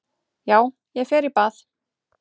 Já, ég fer í bað.